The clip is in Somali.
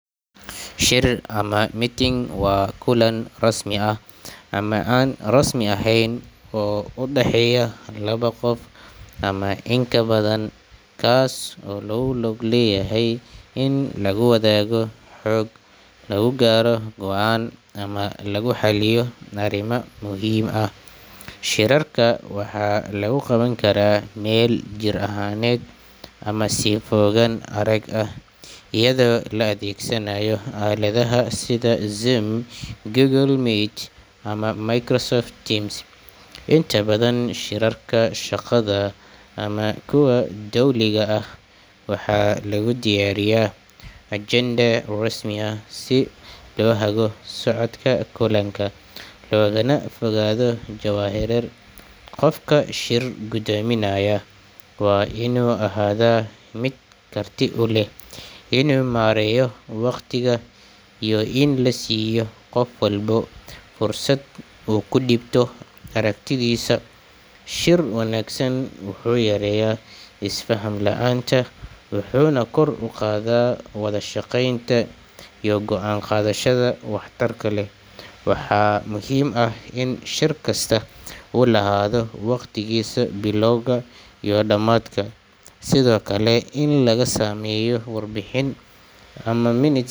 Shir ama meeting waa kulan rasmi ah ama aan rasmi ahayn oo u dhexeeya laba qof ama in ka badan, kaas oo looga gol leeyahay in lagu wadaago xog, lagu gaaro go’aan, ama lagu xalliyo arrimo muhiim ah. Shirarka waxaa lagu qaban karaa meel jir ahaaneed ama si fogaan arag ah iyada oo la adeegsanayo aaladaha sida Zoom, Google Meet ama Microsoft Teams. Inta badan, shirarka shaqada ama kuwa dowliga ah waxaa lagu diyaariyaa ajende rasmi ah si loo hago socodka kulanka, loogana fogaado jahawareer. Qofka shir guddoominaya waa inuu ahaadaa mid karti u leh inuu maareeyo waqtiga iyo in la siiyo qof walba fursad uu ku dhiibto aragtidiisa. Shir wanaagsan wuxuu yareeyaa is-faham la’aanta, wuxuuna kor u qaadaa wada shaqeynta iyo go’aan qaadashada waxtarka leh. Waxaa muhiim ah in shir kasta uu lahaado waqtigiisa bilowga iyo dhamaadka, sidoo kale in laga sameeyo warbixin ama minutes.